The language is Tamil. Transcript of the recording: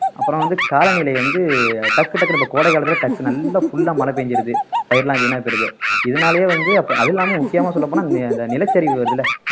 அப்புறம் வந்து காலநிலை வந்து டக்கு டக்குன்னு இப்ப கோடை காலத்துல டக்குனு நல்லா full ஆ மழை பேஞ்சிருது பயிர்லாம் வீணா போயிடுது இதனாலயே வந்து அப்ப அது இல்லாம முக்கியமா சொல்லப்போனா நி நிலச்சரிவு வருதுல்ல